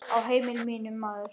Á heimili mínu, maður.